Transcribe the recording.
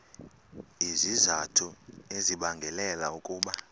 izizathu ezibangela ukuba